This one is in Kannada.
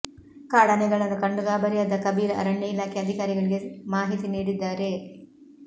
ಕಾಡಾನೆಗಳನ್ನು ಕಂಡು ಗಾಬರಿಯಾದ ಕಬೀರ್ ಅರಣ್ಯ ಇಲಾಖೆ ಅಧಿಕಾರಿಗಳಿಗೆ ಮಾಹಿತಿ ನೀಡಿದ್ದಾರೆ